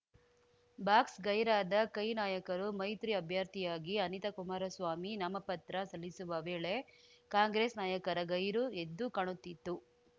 box ಗೈರಾದ ಕೈ ನಾಯಕರು ಮೈತ್ರಿ ಅಭ್ಯರ್ಥಿಯಾಗಿ ಅನಿತಾ ಕುಮಾರಸ್ವಾಮಿ ನಾಮಪತ್ರ ಸಲ್ಲಿಸುವ ವೇಳೆ ಕಾಂಗ್ರೆಸ್‌ ನಾಯಕರ ಗೈರು ಎದ್ದು ಕಾಣುತ್ತಿತ್ತು